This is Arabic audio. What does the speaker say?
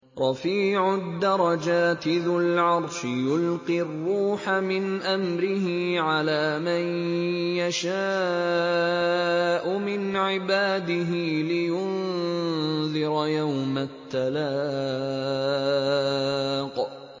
رَفِيعُ الدَّرَجَاتِ ذُو الْعَرْشِ يُلْقِي الرُّوحَ مِنْ أَمْرِهِ عَلَىٰ مَن يَشَاءُ مِنْ عِبَادِهِ لِيُنذِرَ يَوْمَ التَّلَاقِ